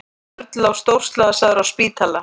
Örn lá stórslasaður á spítala.